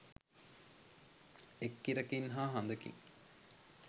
එක් ඉරකින් හා හඳකින්